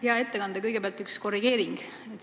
Hea ettekandja, kõigepealt üks korrigeering.